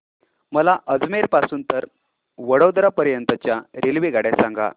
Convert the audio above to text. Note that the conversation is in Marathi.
मला अजमेर पासून तर वडोदरा पर्यंत च्या रेल्वेगाड्या सांगा